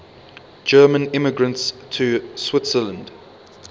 german immigrants to switzerland